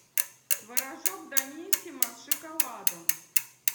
творожок даниссимо с шоколадом